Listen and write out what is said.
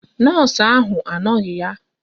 Nọọsụ ahụ anoghi ya.